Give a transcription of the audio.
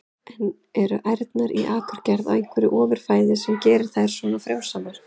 En eru ærnar í Akurgerð á einhverju ofur fæði sem gerir þær svona frjósamar?